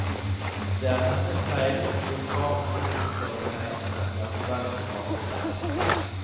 Det er hennes feil hvis barna ikke oppfører seg som det er forventet av dem.